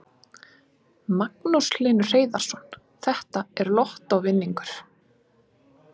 Magnús Hlynur Hreiðarsson: Þetta er lottóvinningur?